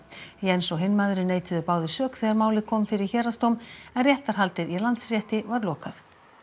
Jens og hinn maðurinn neituðu báðir sök þegar málið kom fyrir héraðsdóm en réttarhaldið í Landsrétti var lokað